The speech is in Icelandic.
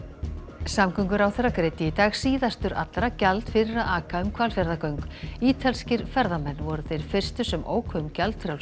samgönguráðherra greiddi í dag síðastur allra gjald fyrir að aka um Hvalfjarðargöng ítalskir ferðamenn voru þeir fyrstu sem óku um gjaldfrjáls